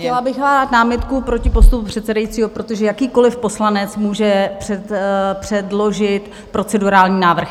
Chtěla bych podat námitku proti postupu předsedajícího, protože jakýkoliv poslanec může předložit procedurální návrh.